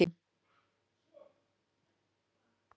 Tindra, hvernig verður veðrið á morgun?